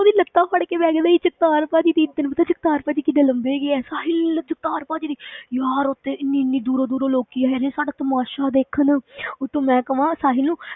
ਉਹਦੀ ਲੱਤਾਂ ਫੜਕੇ ਬਹਿ ਗਏ ਨਹੀਂ ਜਗਤਾਰ ਭਾਜੀ, ਦੇਖ ਤੈਨੂੰ ਪਤਾ ਜਗਤਾਰ ਭਾਜੀ ਕਿੰਨੇ ਲੰਬੇ ਹੈਗੇ ਆ, ਸਾਹਿਲ ਨੇ ਜਗਤਾਰ ਭਾਜੀ ਦੀ ਯਾਰ ਉੱਥੇ ਇੰਨੀ ਇੰਨੀ ਦੂਰੋਂ ਦੂਰੋਂ ਲੋਕੀ ਆਏ ਨੇ, ਸਾਡਾ ਤਮਾਸ਼ਾ ਦੇਖਣ ਉੱਤੋਂ ਮੈਂ ਕਵਾਂ ਸਾਹਿਲ ਨੂੰ,